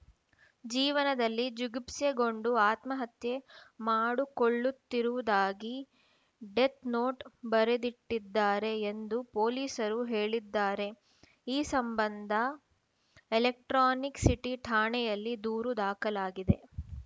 ಜೀವನದಲ್ಲಿ ಜಿಗುಪ್ಸೆಗೊಂಡು ಆತ್ಮಹತ್ಯೆ ಮಾಡಿಕೊಳ್ಳುತ್ತಿರುವುದಾಗಿ ಡೆತ್‌ನೋಟ್‌ ಬರೆದಿಟ್ಟಿದ್ದಾರೆ ಎಂದು ಪೊಲೀಸರು ಹೇಳಿದ್ದಾರೆ ಈ ಸಂಬಂಧ ಎಲೆಕ್ಟ್ರಾನಿಕ್‌ ಸಿಟಿ ಠಾಣೆಯಲ್ಲಿ ದೂರು ದಾಖಲಾಗಿದೆ